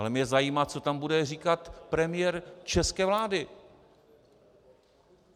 Ale mě zajímá, co tam bude říkat premiér české vlády.